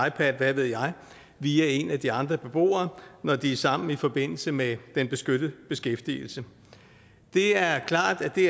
ipad hvad ved jeg via en af de andre beboere når de er sammen i forbindelse med den beskyttede beskæftigelse det er klart at det